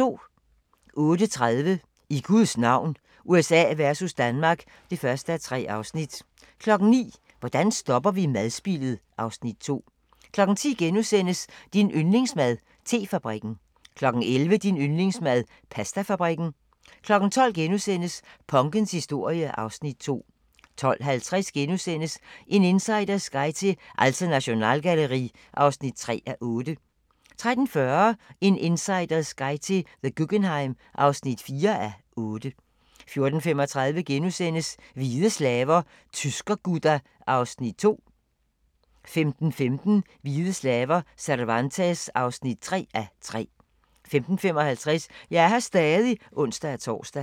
08:30: I Guds navn – USA versus Danmark (1:3) 09:00: Hvordan stopper vi madspildet? (Afs. 2) 10:00: Din yndlingsmad: Te-fabrikken * 11:00: Din yndlingsmad: Pastafabrikken 12:00: Punkens historie (Afs. 2)* 12:50: En insiders guide til Alte Nationalgalerie (3:8)* 13:40: En insiders guide til The Guggenheim (4:8) 14:35: Hvide slaver – Tyrker-Gudda (2:3)* 15:15: Hvide slaver – Cervantes (3:3) 15:55: Jeg er her stadig (ons-tor)